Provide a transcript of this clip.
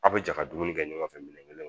Aw bɛ jɛ ka dumuni kɛ ɲɔgɔn fɛ minɛn kelen